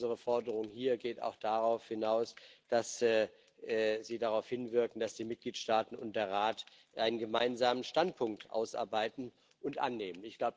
Unsere Forderung hier geht auch darauf hinaus, dass sie darauf hinwirken, dass die Mitgliedstaaten und der Rat einen gemeinsamen Standpunkt ausarbeiten und annehmen.